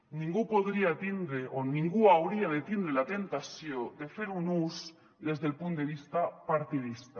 ningú podria tindre o ningú hauria de tindre la temptació de fer un ús des del punt de vista partidista